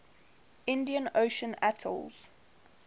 indian ocean atolls